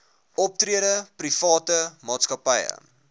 optrede private maatskappye